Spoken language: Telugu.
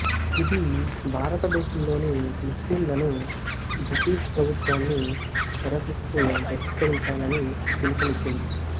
ఇది భారతదేశంలోని ముస్లింలను బ్రిటిష్ ప్రభుత్వాన్ని నిరసిస్తూ బహిష్కరించాలని పిలుపునిచ్చింది